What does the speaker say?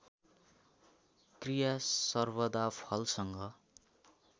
क्रिया सर्वदा फलसँग